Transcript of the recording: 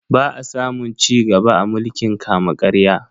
Ba a samun cigaba a mulkin kama-karya.